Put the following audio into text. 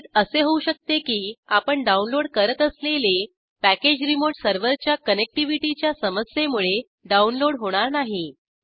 कदाचित असे होऊ शकते की आपण डाऊनलोड करत असलेले पॅकेज रीमोट सर्वरच्या कनेक्टिव्हिटीच्या समस्येमुळे डाऊनलोड होणार नाही